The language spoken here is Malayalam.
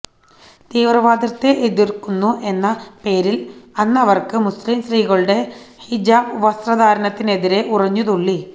തീവ്രവാദത്തെ എതിര്ക്കുന്നു എന്ന പേരില് അന്നവര് മുസ്ലിംസ്ത്രീകളുടെ ഹിജാബ് വസ്ത്രധാരണത്തിനെതിരെ ഉറഞ്ഞു തുള്ളി